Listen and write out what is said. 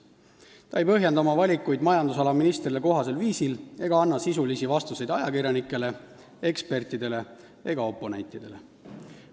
Ta ei põhjenda oma valikuid majandusala ministrile kohasel viisil ega anna sisulisi vastuseid ajakirjanikele, ekspertidele ega oponentidele.